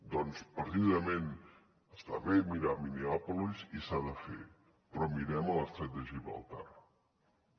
doncs precisament està bé mirar minneapolis i s’ha de fer però mirem a l’estret de gibraltar també